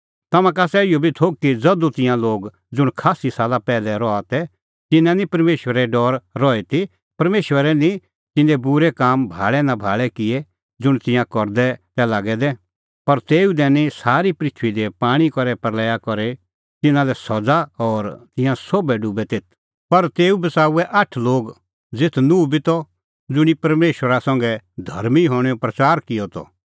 तम्हां का आसा इहअ बी थोघ कि ज़धू तिंयां लोग ज़ुंण खास्सी साला पैहलै रहा तै तिन्नां निं परमेशरे डौर रही ती परमेशरै निं तिन्नें बूरै काम भाल़ै नां भाल़ै किऐ ज़ुंण तिंयां करदै तै लागै दै पर तेऊ दैनी सारी पृथूई दी पाणीं करै प्रल़या करी तिन्नां लै सज़ा और तिंयां सोभै डुबै तेथ पर तेऊ बच़ाऊऐ आठ लोग ज़ेथ नूह बी त ज़ुंणी परमेशरा संघै धर्मीं हणैंओ प्रच़ार किअ त